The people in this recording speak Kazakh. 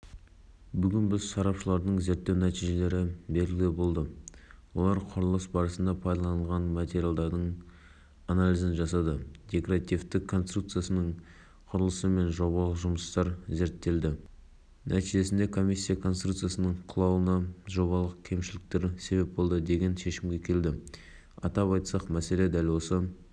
астана ұлттық компаниясының басқарма төрағасының орынбасары лютовтың басқаруымен арнайы комиссия құрылды комиссия бұзылу себебін анықтау үшін тәуелсіз сарапшы компаниялар каз мен